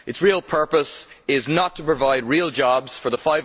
Its real purpose is not to provide real jobs for the